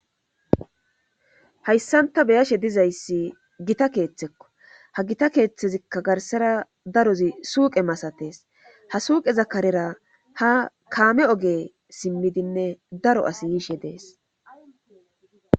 Hayssanta be'iyashe dizayssi gita keeththekko ha gita keeththezikka garssara darozi suuqe masatees. Ha suuqe karera ha kaame oge simmidinne daro asi yiishe dees.